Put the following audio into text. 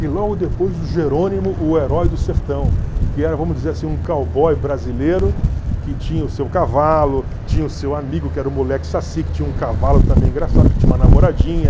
E logo depois o Jerônimo, o Herói do Sertão, que era, vamos dizer assim, um cowboy brasileiro que tinha o seu cavalo, tinha o seu amigo que era o moleque saci, que tinha um cavalo também engraçado, que tinha uma namoradinha.